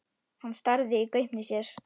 Hann starði í gaupnir sér.